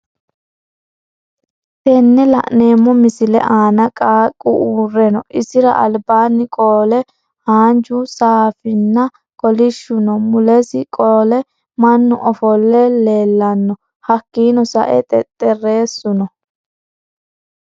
tenne lanemmo missile Anna qaaqqu urreno issira alibanni qoole haanju saafinna kolishu no. Muulesi qoole mannu offolle lellanno! Hakkinno sa'e xexerissu no.